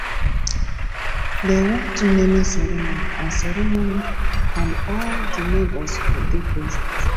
dey wan do naming ceremony and ceremony and all di neighbours go dey present